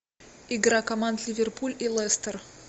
игра команд ливерпуль и лестер